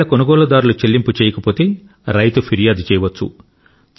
ఒకవేళ కొనుగోలుదారులు చెల్లింపు చేయకపోతే రైతు ఫిర్యాదు చేయవచ్చు